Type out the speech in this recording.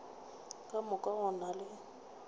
ka moka go na le